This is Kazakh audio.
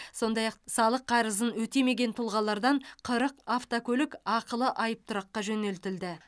сондай ақ салық қарызын өтемеген тұлғалардан қырық автокөлік ақылы айыптұраққа жөнелтілді